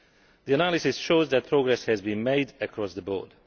The analysis shows that progress has been made across the board.